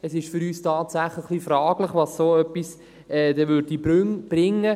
Es ist für uns tatsächlich etwas fraglich, was so etwas denn bringen würde.